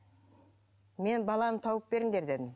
мен баланы тауып беріңдер дедім